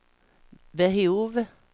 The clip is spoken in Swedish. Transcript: behov